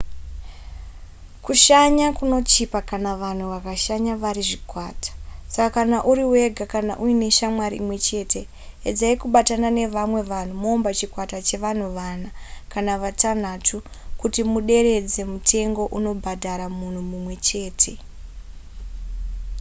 kushanya kunochipa kana vanhu vakashanya vari zvikwata saka kana uri wega kana kuti uine shamwari imwe chete edzai kubatana nevamwe vanhu moumba chikwata chevanhu vana kana vatanhatu kuti muderedze mutengo unobhadhara munhu mumwe chete